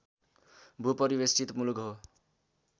भू परिवेष्ठित मुलुक हो